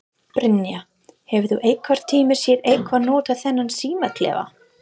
Brynja: Hefur þú einhvern tíman séð einhver nota þennan símaklefa?